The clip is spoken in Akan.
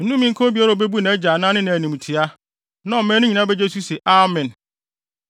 “Nnome nka obiara a obebu nʼagya anaa ne na animtiaa.” Na ɔman no nyinaa begye so se, “Amen!”